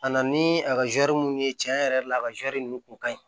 A na ni a ka zɛri minnu ye tiɲɛ yɛrɛ la a ka zɛrɛri ninnu kun ka ɲi